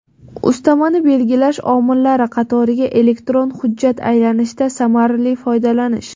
Ustamani belgilash omillari qatoriga elektron hujjat aylanishidan samarali foydalanish.